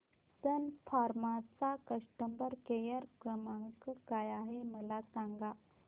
सन Pharma चा customer care क्रमांक काय आहे मला सांगा